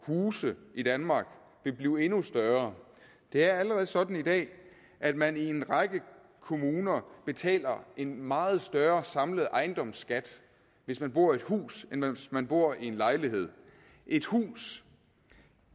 huse i danmark vil blive endnu større det er allerede sådan i dag at man i en række kommuner betaler en meget større samlet ejendomsskat hvis man bor i et hus end hvis man bor i en lejlighed et hus